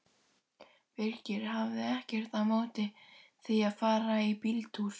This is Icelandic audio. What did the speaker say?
Birkir hafði ekkert á móti því að fara í bíltúr.